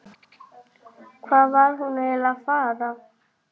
Hvað var hún eiginlega að fara?